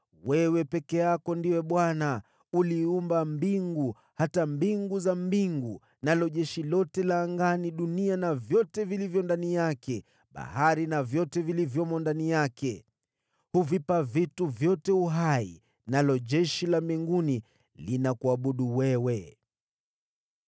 Wewe peke yako ndiwe Bwana . Uliziumba mbingu, hata mbingu za mbingu na jeshi lote la mbinguni, dunia na vyote vilivyo ndani yake, na pia bahari na vyote vilivyomo ndani yake. Huvipa vitu vyote uhai, nalo jeshi la mbinguni linakuabudu wewe.